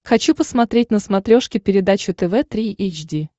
хочу посмотреть на смотрешке передачу тв три эйч ди